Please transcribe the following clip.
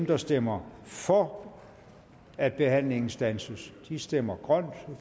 der stemmer for at behandlingen standses stemmer grønt og